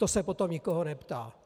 To se potom nikoho neptá.